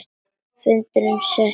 Fundur settur á ný.